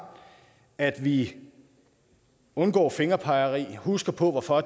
at vi undgår fingerpegeri og husker på hvorfor